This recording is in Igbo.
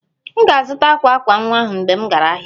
M ga-azụta akwa akwa nwa ahụ mgbe m gara ahịa